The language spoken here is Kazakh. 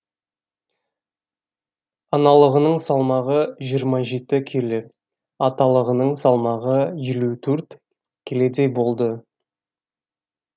аналығының салмағы жиырма келі аталығының салмағы елу төрт келедей болады